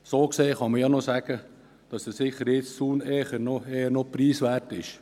So gesehen kann man sagen, dass dieser Sicherheitszaun eher preiswert ist.